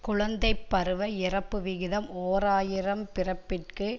குழந்தை பருவ இறப்பு விகிதம் ஓர் ஆயிரம் பிறப்பிற்கு